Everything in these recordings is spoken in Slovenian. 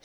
Uzreti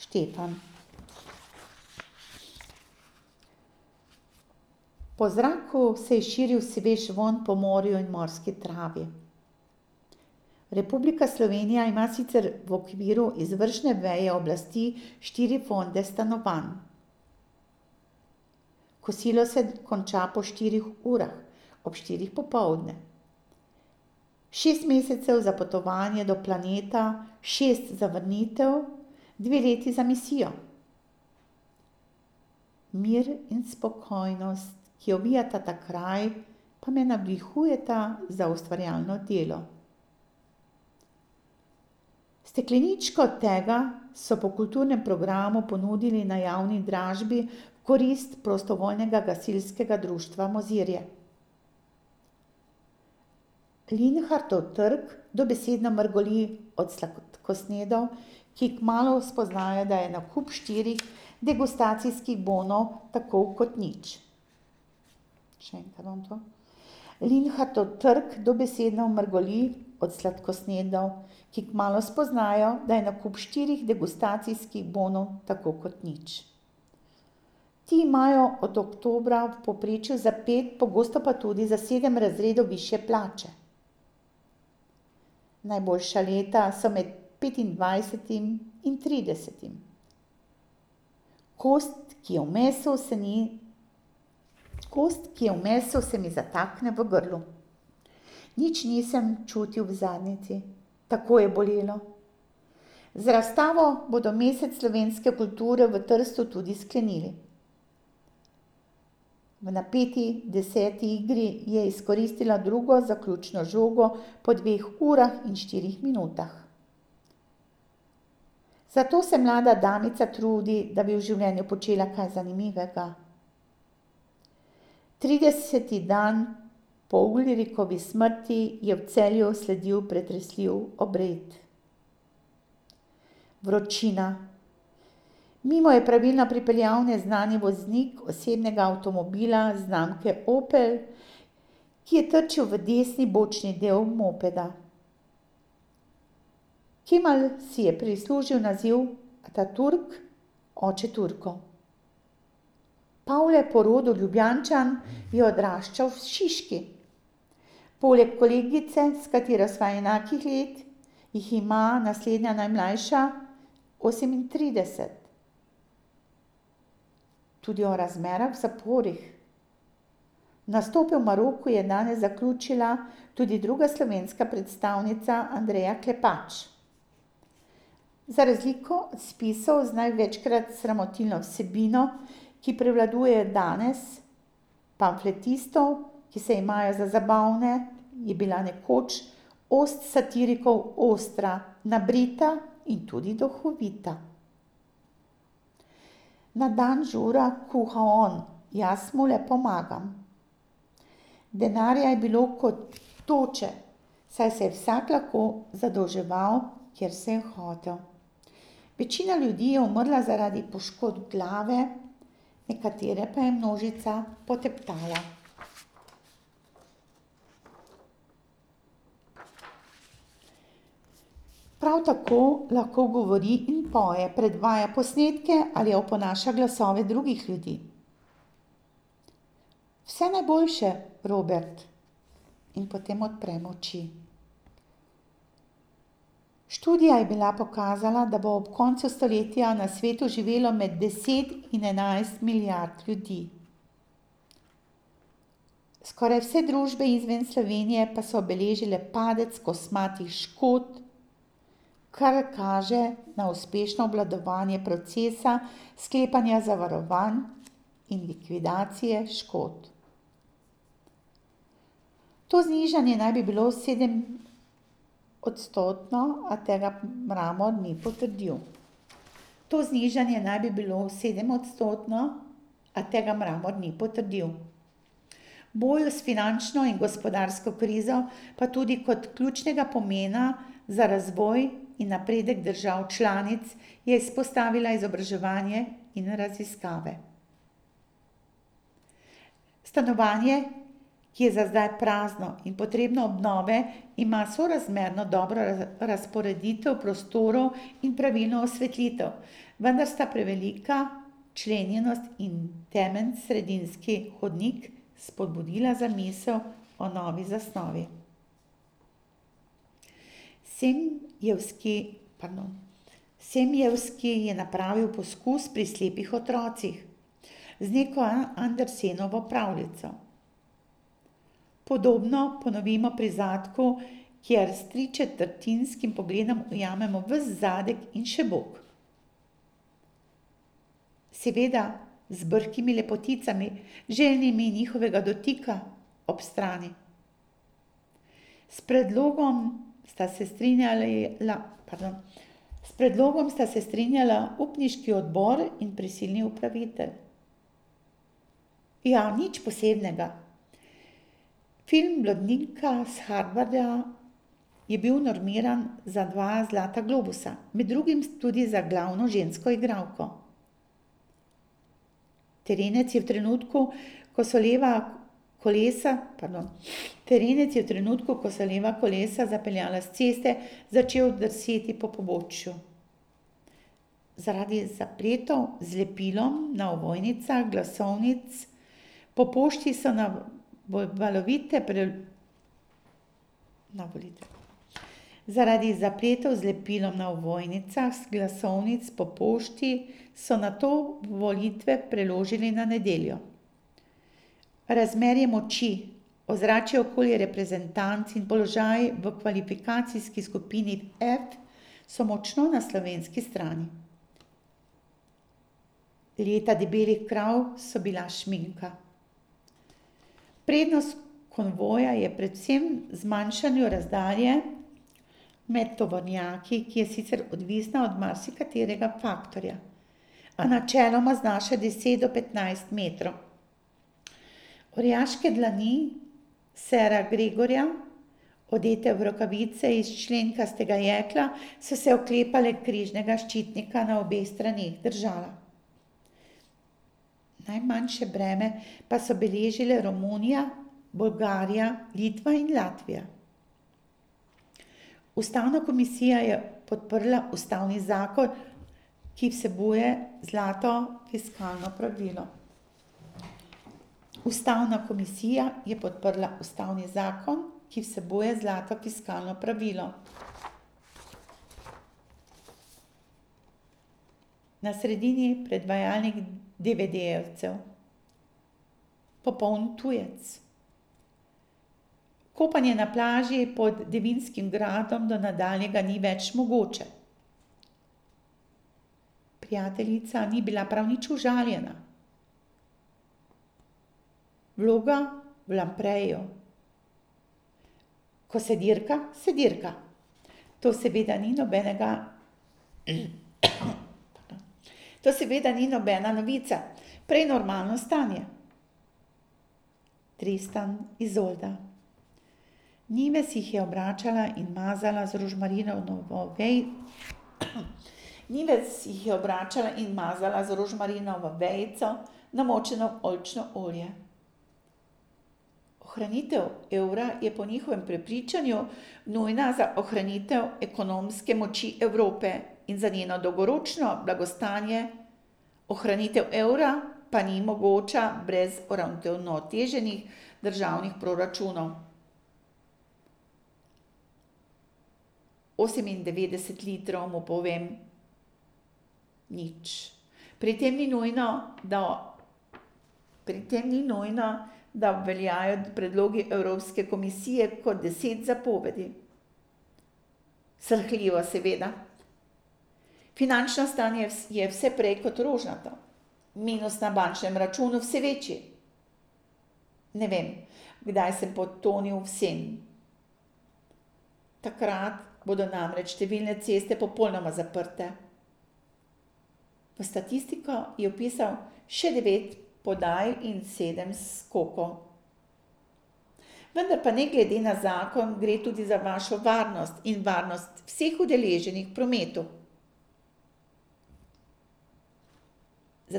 radost v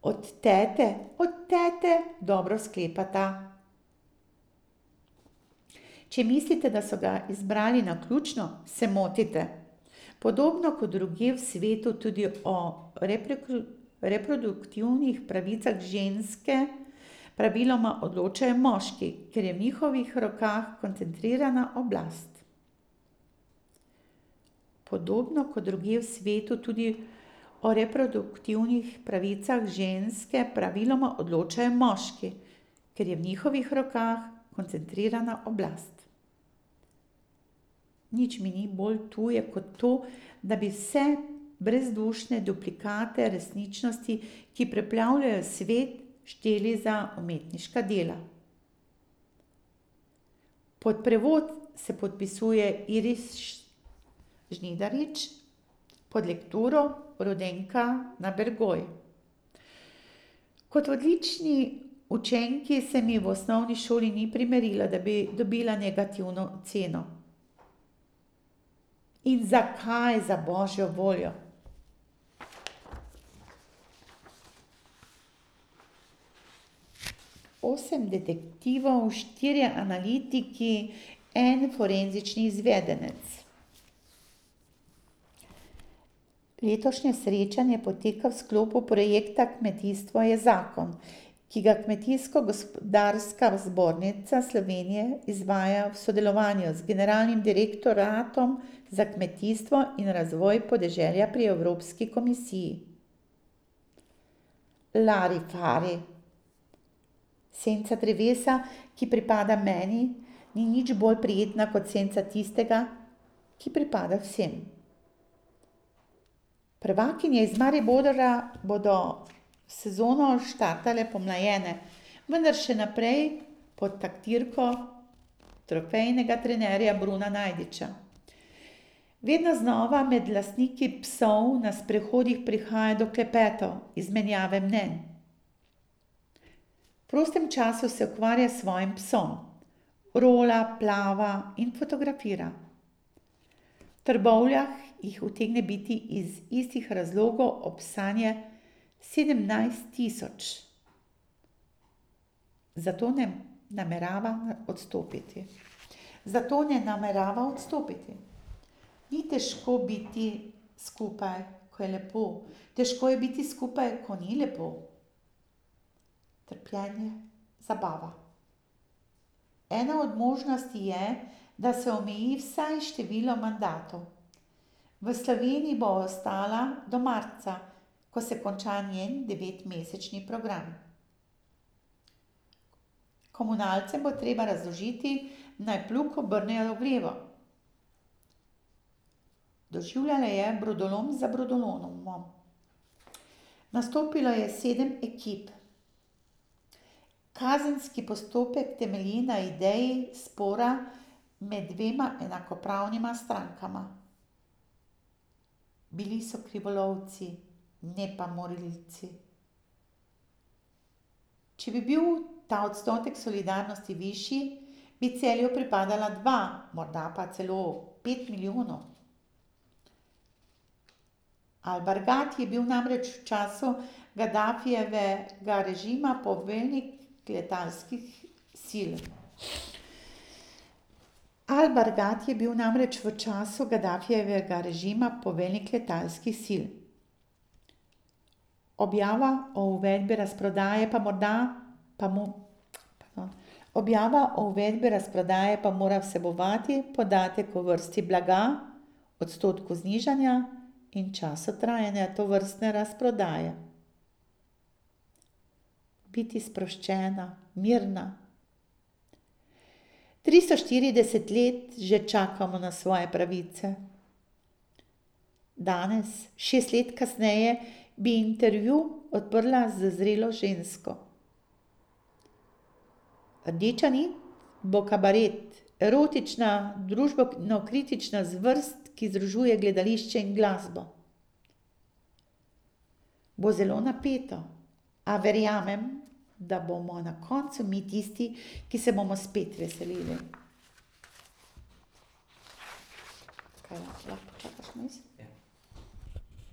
preprostosti.